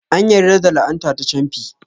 An yarda da la'ana ta camfi.